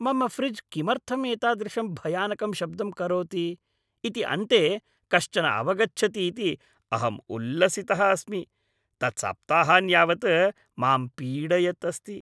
मम फ़्रिज् किमर्थम् एतादृशं भयानकं शब्दं करोति इति अन्ते कश्चन अवगच्छति इति अहं उल्लसितः अस्मि। तत् सप्ताहान् यावत् मां पीडयत् अस्ति!